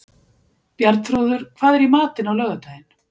Bjarnþrúður, hvað er í matinn á laugardaginn?